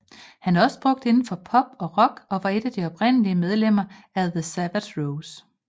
Han er også brugt inden for pop og rock og var et af de oprindelige medlemmer i The Savage Rose